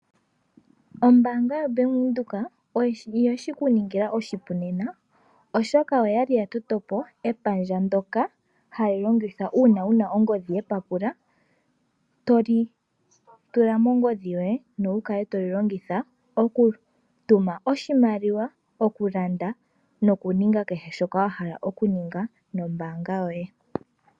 Ombaanga yaBank Windhoek oyeshi kuningila oshipu nena oshoka oya li ya toto po epandja ndoka hali longithwa uuna wuna ongodhi yepapula to li tula mongodhi yoye nowu kale toli longitha okutuma oshimaliwa , okulanda nokuninga keshe shoka wa hala okuninga nombaanga yoye.